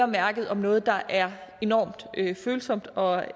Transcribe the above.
mærke om noget der er enorm følsomt og